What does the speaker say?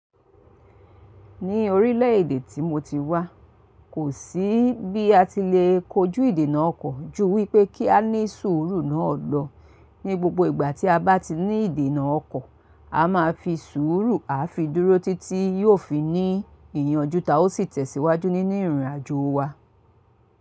Ní orílẹ̀ èdè tí mo ti wá, kò sí bí a ti lè kojú ìdènà ọkọ̀ ju wípé kí á ní sùúrù náà lọ. Ní gbogbo ìgbà tí a bá ti ní ìdènà ọkọ̀, a máa fi sùúrù, a fi dúró títí yóò fi ní ìyànjú ta ó sì tẹ̀síwájú nínú ìrìnàjò wa.